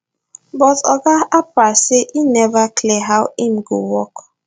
but oga harper say e neva clear how im go work